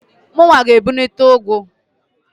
Mụnwa g'ebunite ụgụ.